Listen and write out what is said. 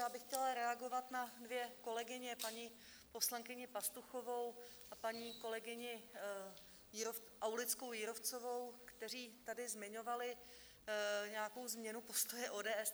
Já bych chtěla reagovat na dvě kolegyně, paní poslankyni Pastuchovou a paní kolegyni Aulickou Jírovcovou, které tady zmiňovaly nějakou změnu postoje ODS.